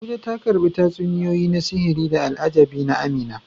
Abuja, ta karbi tatsuniyoyi na sihiri da al'ajabi na Amina.